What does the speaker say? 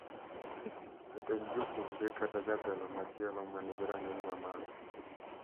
Jatend jopuonjre kata jatelo machielo ma nigi rang’iny mamalo,